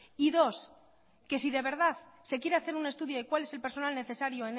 y dos que si de verdad se quiere hacer un estudio de cuál es el personal necesario